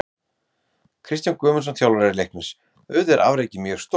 Kristján Guðmundsson, þjálfari Leiknis: Auðvitað er afrekið mjög stórt.